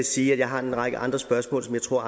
sige at jeg har en række andre spørgsmål som jeg tror